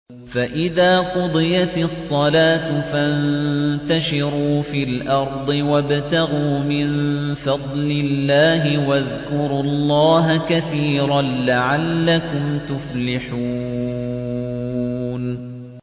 فَإِذَا قُضِيَتِ الصَّلَاةُ فَانتَشِرُوا فِي الْأَرْضِ وَابْتَغُوا مِن فَضْلِ اللَّهِ وَاذْكُرُوا اللَّهَ كَثِيرًا لَّعَلَّكُمْ تُفْلِحُونَ